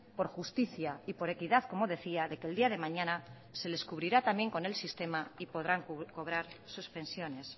por justicia y por equidad como decía de que el día de mañana se les cubrirá también con el sistema y podrán cobrar sus pensiones